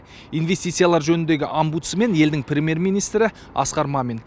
инвестициялар жөніндегі омбудсмен елдің премьер министрі асқар мамин